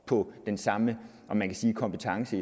på den samme kompetence